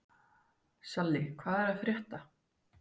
Salli, hvað er að frétta?